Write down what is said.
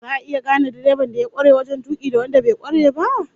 Za'a iya gane direban da ya kware wajen tuki da wanda bai kware ba?